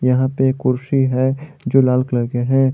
यहा पे कुर्सी है जो लाल कलर के है।